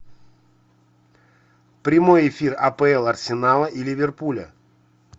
прямой эфир апл арсенала и ливерпуля